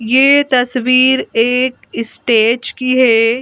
ये तस्वीर एक स्टेज की है।